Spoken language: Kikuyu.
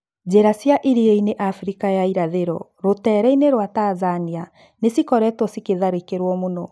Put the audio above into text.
Njira cia iriainĩ Africa ya irathĩro rũteereinĩ rwa Tanzania nĩ cikoretwo cikĩtharĩkĩrwo mũno.